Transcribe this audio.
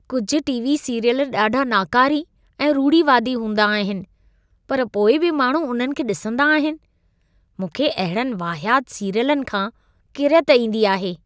कुझु TV. Serial ॾाढा नाकारी ऐं रूढ़िवादी हूंदा आहिनि, पर पोइ बि माण्हू उन्हनि खे ॾिसंदा आहिनि। मूंखे अहिड़नि वाहियात सीरियलनि खां किरियत ईंदी आहे।